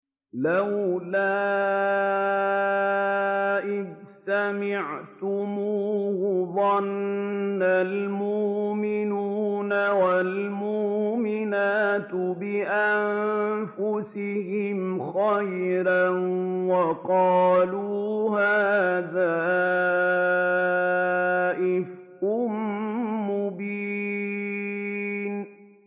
لَّوْلَا إِذْ سَمِعْتُمُوهُ ظَنَّ الْمُؤْمِنُونَ وَالْمُؤْمِنَاتُ بِأَنفُسِهِمْ خَيْرًا وَقَالُوا هَٰذَا إِفْكٌ مُّبِينٌ